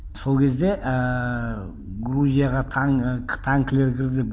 сол кезде ііі грузияға і танкілер кірді